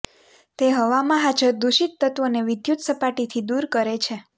તે હવામાં હાજર દુષિત તત્વોને વિદ્યુત સપાટી થી દૂર કરે છે